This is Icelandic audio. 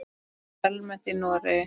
Það er almennt í Noregi.